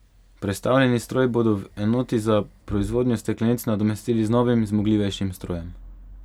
Prestavljeni stroj bodo v enoti za proizvodnjo steklenic nadomestili z novim, zmogljivejšim strojem.